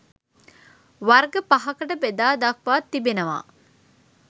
වර්ග පහකට බෙදා දක්වා තිබෙනවා